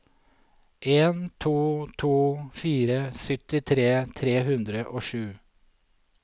en to to fire syttitre tre hundre og sju